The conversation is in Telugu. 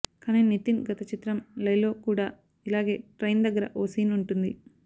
కానీ నితిన్ గత చిత్రం లై లో కూడా ఇలాగే ట్రైన్ దగ్గర ఓ సీన్ ఉంటుంది